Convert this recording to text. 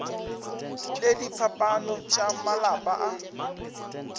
le diphapano tša malapa a